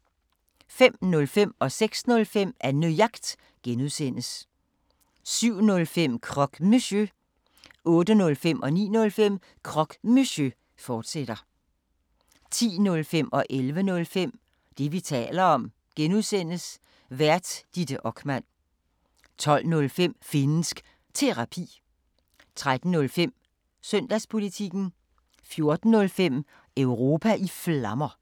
05:05: Annejagt (G) 06:05: Annejagt (G) 07:05: Croque Monsieur 08:05: Croque Monsieur, fortsat 09:05: Croque Monsieur, fortsat 10:05: Det, vi taler om (G) Vært: Ditte Okman 11:05: Det, vi taler om (G) Vært: Ditte Okman 12:05: Finnsk Terapi 13:05: Søndagspolitikken 14:05: Europa i Flammer